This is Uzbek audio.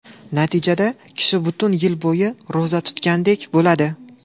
Natijada, kishi butun yil bo‘yi ro‘za tutgandek bo‘ladi.